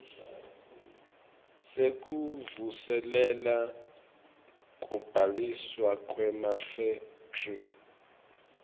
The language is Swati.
sekuvuselela kubhaliswa kwemafekthri